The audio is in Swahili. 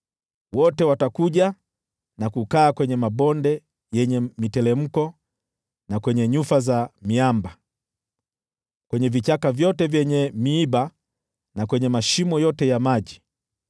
Wote watakuja na kukaa kwenye mabonde yenye miteremko, na kwenye nyufa za miamba, kwenye vichaka vyote vyenye miiba, na kwenye mashimo yote ya maji.